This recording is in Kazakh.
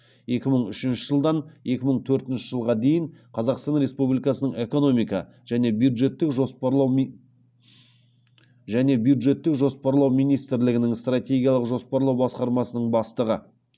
екі мың үшінші жылдан екі мың төртінші жылға дейін қазақстан республикасының экономика және бюджеттік жоспарлау министрлігінің стратегиялық жоспарлау басқармасының бастығы